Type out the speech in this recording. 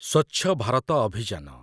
ସ୍ୱଚ୍ଛ ଭାରତ ଅଭିଯାନ